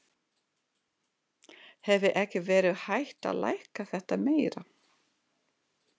Hefði ekki verið hægt að lækka þetta meira?